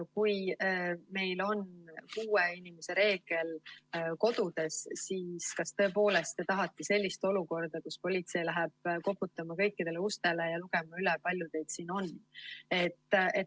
Kui meil on kuue inimese reegel kodudes, siis kas tõepoolest te tahate sellist olukorda, kus politsei läheb koputama kõikidele ustele ja lugema üle, palju teid seal on?